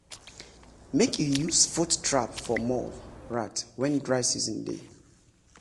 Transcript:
make you use foot trap for mole rat wen dry season dey.